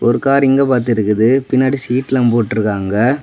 ஒரு கார் இங்க பார்த்து இருக்குது. பின்னாடி சீட் எல்லாம் போட்டு இருக்காங்க.